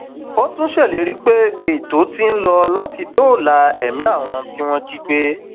ó tún ṣèlérí pé ètò ti ń lọ láti dóòlà ẹmí àwọn tí wọn jí gbé